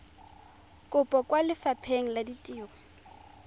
kopo kwa lefapheng la ditiro